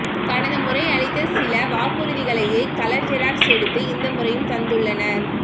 கடந்த முறை அளித்த சில வாக்குறுதிகளையே கலர் ஜெராக்ஸ் எடுத்து இந்த முறையும் தந்துள்ளனர்